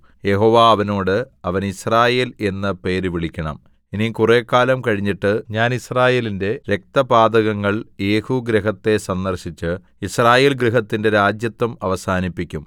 യഹോവ അവനോട് അവന് യിസ്രായേൽ എന്ന് പേര് വിളിക്കണം ഇനി കുറെക്കാലം കഴിഞ്ഞിട്ട് ഞാൻ യിസ്രായേലിന്റെ രക്തപാതകങ്ങൾ യേഹൂഗൃഹത്തെ സന്ദർശിച്ച് യിസ്രായേൽ ഗൃഹത്തിന്റെ രാജത്വം അവസാനിപ്പിക്കും